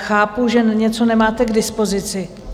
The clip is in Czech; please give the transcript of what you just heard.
Chápu, že něco nemáte k dispozici.